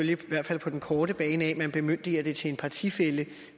jo i hvert fald på den korte bane at man bemyndiger det til en partifælle